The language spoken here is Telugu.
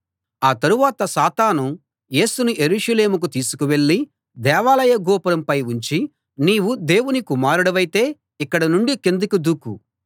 ఆ తరువాత సాతాను యేసును యెరూషలేముకు తీసుకువెళ్ళి దేవాలయ గోపురంపై ఉంచి నీవు దేవుని కుమారుడివైతే ఇక్కడ నుండి కిందికి దూకు